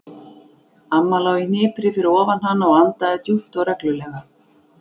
Amma lá í hnipri fyrir ofan hana og andaði djúpt og reglulega.